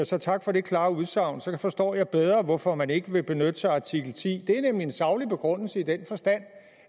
så tak for det klare udsagn så forstår jeg bedre hvorfor man ikke vil benytte sig af artikel tiende det er nemlig en saglig begrundelse i den forstand